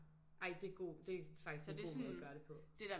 Ej det god det er faktisk en god måde at gøre det på